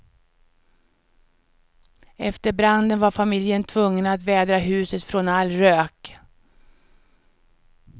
Efter branden var familjen tvungen att vädra huset från all rök.